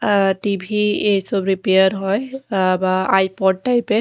অ্যা TV এই সব repair হয় অ্যা বা আইপড টাইপ -এর।